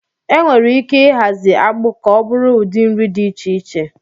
Enwere ike ịhazi akpu ka ọ bụrụ udi nri dị iche iche